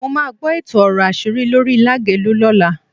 Mo máa gbọ́ èto ọ̀rọ̀ àṣírí lórí Lágelú lọ́la.